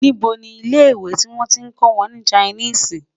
níbo ní ilẹ ìwé tí wọn tí kò wọn ní Chinese?